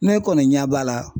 Ne kɔni ɲɛ b'a la